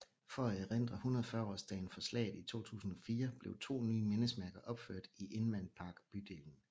For at erindre 140 års dagen for slaget i 2004 blev to nye mindesmærker opført i Inman Park bydelen